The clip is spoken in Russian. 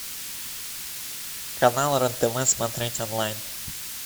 канал рен тв смотреть онлайн